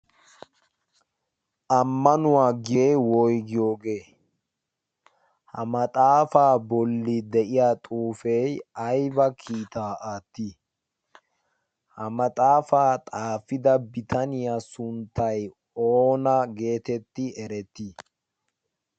ammanuwaa gyee woygiyoogee ha maxaafaa bolli de'iya xuufe aiba kiitaa aattii ha maxaafaa xaafida bitaniyaa sunttay oona geetetti erettii